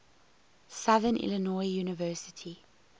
southern illinois university